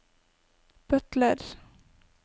butler